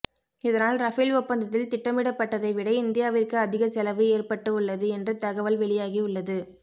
இதனால் ரபேல் ஒப்பந்தத்தில் திட்டமிடப்பட்டதை விட இந்தியாவிற்கு அதிக செலவு ஏற்பட்டு உள்ளது என்று தகவல் வெளியாகி உள்ளது